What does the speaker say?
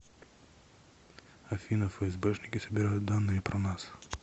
афина фсбшники собирают данные про нас